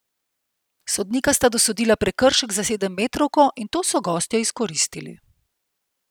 Sodnika sta dosodila prekršek za sedemmetrovko in to so gostje izkoristili.